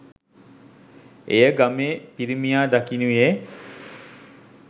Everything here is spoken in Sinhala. එය ගමේ පිරිමියා දකිනුයේ